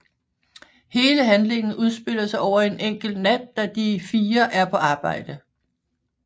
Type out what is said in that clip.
Hele handlingen udspiller sig over en enkelt nat da de fire er på arbejde